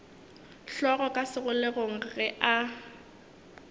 hlogo ka segoleng ge a